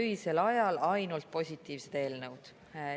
Öisel ajal ainult positiivsed eelnõud!